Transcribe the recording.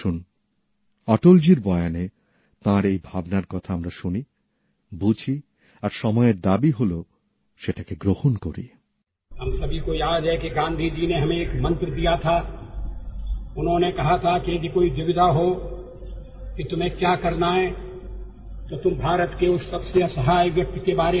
আসুন অটলজির বয়ানে তাঁর এই ভাবনার কথা আমরা শুনি বুঝি আর সময়ের দাবি হল সেটাকে গ্রহণ করি